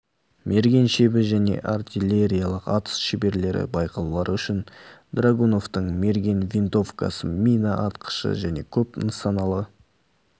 мерген шебі және артиллериялық атыс шеберлері байқаулары үшін драгуновтың мерген винтовкасы мина атқышы және көп нысаналы